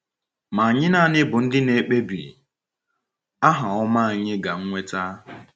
Ma anyị naanị bụ ndị na -ekpebi aha ọma anyị ga -nweta.